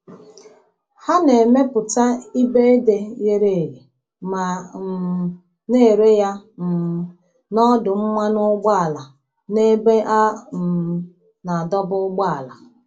Ha na-emepụta ibe ede ghere eghe ma um na-ere ya um n’ọdụ mmanụ ụgbọala na ebe a um na-adọba ụgbọala.